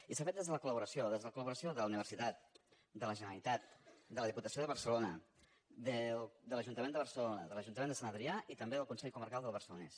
i s’ha fet des de la col·laboració des de la col·laboració de la universitat de la generalitat de la diputació de barcelona de l’ajuntament de barcelona de l’ajuntament de sant adrià i també del consell comarcal del barcelonès